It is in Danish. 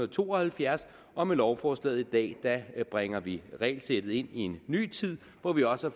to og halvfjerds og med lovforslaget i dag bringer vi regelsættet ind i en ny tid hvor vi også